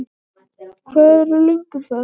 Hvar eru lög um það?